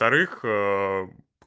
вторых